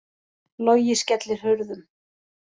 Logi skellir hurðum